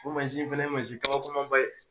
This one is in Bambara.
O mansin fɛnɛ ye mansin kabakoman ba ye.